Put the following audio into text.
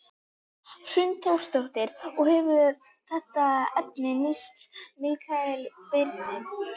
Hrund Þórsdóttir: Og hefur þetta efni nýst Mikael Birni?